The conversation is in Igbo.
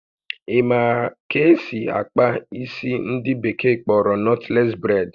Ị ma ka esị akpa isi ndị bekee kpọrọ nọtles braid?